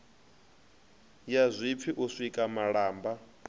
ya zwipfi u sika malamba